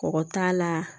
Kɔgɔ t'a la